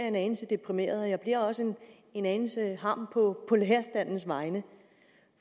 en anelse deprimeret og jeg bliver også en anelse harm på lærerstandens vegne